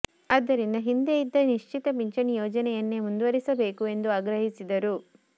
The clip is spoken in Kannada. ಆದ್ದರಿಂದ ಹಿಂದೆ ಇದ್ದ ನಿಶ್ಚಿತ ಪಿಂಚಣಿ ಯೋಜನೆಯನ್ನೇ ಮುಂದುವರಿಸಬೇಕು ಎಂದು ಆಗ್ರಹಿಸಿದರು